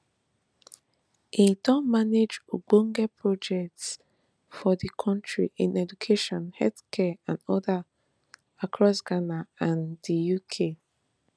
im don manage ogbonge projects for di kontri in education healthcare and odas across ghana and di uk